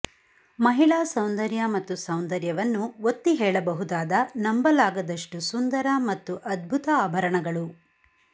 ಮಹಿಳಾ ಸೌಂದರ್ಯ ಮತ್ತು ಸೌಂದರ್ಯವನ್ನು ಒತ್ತಿಹೇಳಬಹುದಾದ ನಂಬಲಾಗದಷ್ಟು ಸುಂದರ ಮತ್ತು ಅದ್ಭುತ ಆಭರಣಗಳು